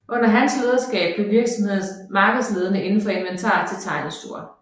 Under hans lederskab blev virksomheden markedsledende inden for inventar til tegnestuer